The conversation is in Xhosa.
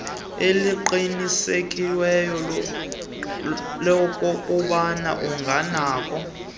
eliqinisekisiweyo lokokuba unganakho